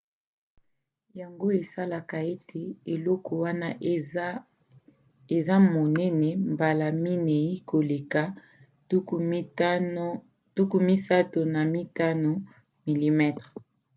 yango esalaka ete eloko wana eza monene mbala minei koleka 35 mm 3136 mm2 contre 864